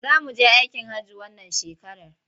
Za mu je aikin hajji wannan shekarar.